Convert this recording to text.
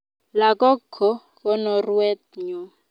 Lakok ko konoruet nyoo